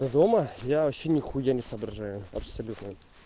ты дома я вообще нехуя не соображаю абсолютно